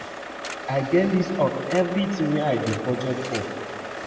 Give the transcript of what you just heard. I get list of everything wey I dey budget for